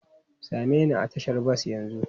Same ni a tashar bas yanzu!